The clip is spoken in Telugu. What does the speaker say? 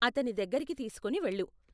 అతని దగ్గరికి తీసుకొని వెళ్ళు .